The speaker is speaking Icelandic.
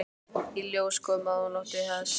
Í ljós kom að hún átti hest.